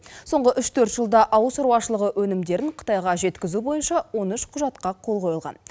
соңғы үш төрт жылда ауыл шаруашылығы өнімдерін қытайға жеткізу бойынша он үш құжатқа қол қойылған